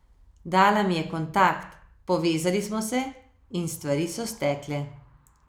Dala mi je kontakt, povezali smo se in stvari so stekle.